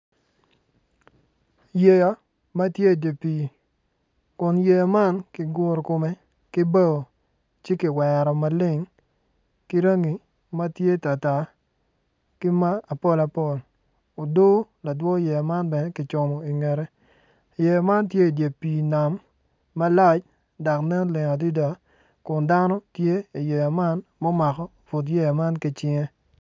Yeya ma tye idi pii kun yeya man ki guru kome ki bao ci ki wero maleng ki rangi ma tye tar tar ki ma apol apol odoo ladwo yeya man bene ki cumo ingette yeya man tye idye pii nam malac dok nen leng adida kun dano tye i yeya man mu mako but yeya man ki cinge